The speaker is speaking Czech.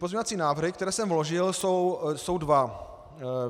Pozměňovací návrhy, které jsem vložil, jsou dva.